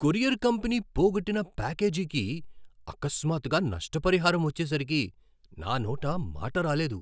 Courier company పోగొట్టిన ప్యాకేజీకి అకస్మాత్తుగా నష్టపరిహారం వచ్చేసరికి నా నోట మాట రాలేదు.